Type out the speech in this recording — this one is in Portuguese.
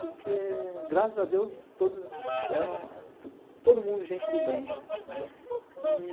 Porque, graças a Deus, todos eram... todo mundo gente do bem, né?